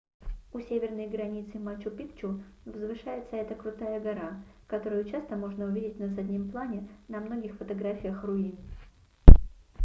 у северной границы мачу-пикчу возвышается эта крутая гора которую часто можно увидеть на заднем плане на многих фотографиях руин